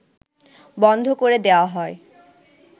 বন্ধ করে দেয়া হয়